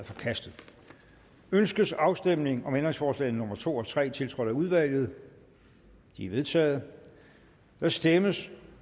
forkastet ønskes afstemning om ændringsforslag nummer to og tre tiltrådt af udvalget de er vedtaget der stemmes